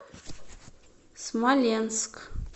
смоленск